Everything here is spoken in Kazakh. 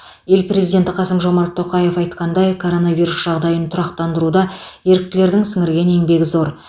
ел президенті қасым жомарт тоқаев айтқандай коронавирус жағдайын тұрақтандыруда еріктілердің сіңірген еңбегі зор